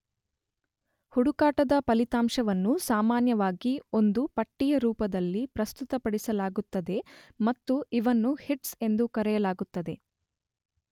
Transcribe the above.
ಹುಡುಕಾಟದ ಫಲಿತಾಂಶಗಳನ್ನು ಸಾಮಾನ್ಯವಾಗಿ ಒಂದು ಪಟ್ಟಿಯ ರೂಪದಲ್ಲಿ ಪ್ರಸ್ತುತಪಡಿಸಲಾಗುತ್ತದೆ ಮತ್ತು ಇವನ್ನು ಹಿಟ್ಸ್ ಎಂದು ಕರೆಯಲಾಗುತ್ತದೆ.